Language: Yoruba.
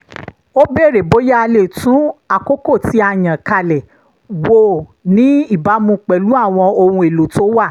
ó béèrè bóyá a lè tún àkókò tí a yàn kalẹ̀ wò ní ìbámu pẹ̀lú àwọn ohun èlò tó wà